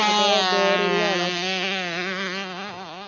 അതോ boring ആണോ?